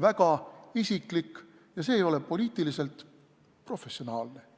väga isiklik ja see ei ole poliitiliselt professionaalne.